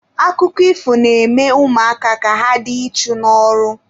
Akụkọ ifo na-eme ụmụaka ka ha dị ichu n'ọrụ.